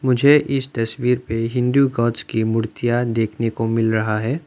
मुझे इस तस्वीर पे हिंदू कांच की मूर्तियां देखने को मिल रहा है।